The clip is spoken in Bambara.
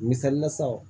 Misalila sa o